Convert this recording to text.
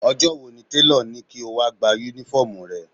Ọjọ́ wo ni tèlọ̀ ní kí o wá Únífọ́ọ̀mù rẹ?